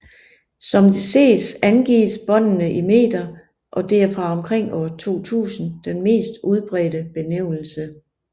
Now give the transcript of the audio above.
Som det ses angives båndene i meter og det er fra omkring år 2000 den mest udbredte benævnelse